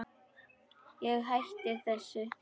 Ég hætti þessu.